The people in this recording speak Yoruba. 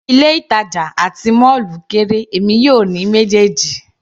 Ilé ìtàjà àti mọ́ọ́lù kéré, èmi yóò ní méjèèjì.